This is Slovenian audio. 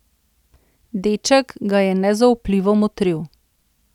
Deček ga je nezaupljivo motril.